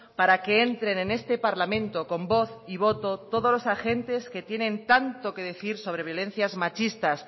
para que entren en este parlamento con voz y voto todos los agentes que tienen tanto que decir sobre violencias machistas